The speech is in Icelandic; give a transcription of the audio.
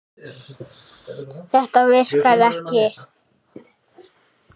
Þetta virkar ekki.